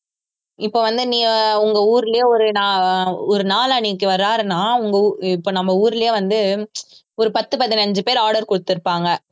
இப்போ வந்து நீ உங்க ஊருலியே ஒரு வாருன்னா உங்க ஊர்~ இப்ப நம்ம ஊர்லயே வந்து ஒரு பத்து பதினஞ்சு பேர் order குடுத்திருப்பாங்க